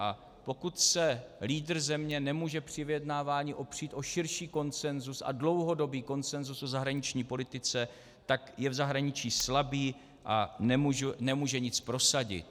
A pokud se lídr země nemůže při vyjednávání opřít o širší konsenzus a dlouhodobý konsenzus v zahraniční politice, tak je v zahraničí slabý a nemůže nic prosadit.